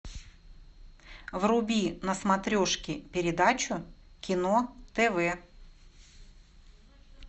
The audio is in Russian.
вруби на смотрешке передачу кино тв